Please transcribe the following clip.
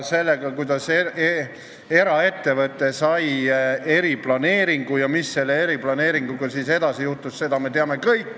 Seda, kuidas eraettevõte sai eriplaneeringu ja mis selle eriplaneeringuga edasi juhtus, me teame kõik.